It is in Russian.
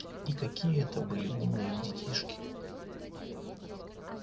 и какие это были умные детишки